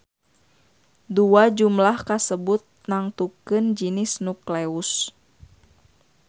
Dua jumlah kasebut nangtukeun jinis nukleus.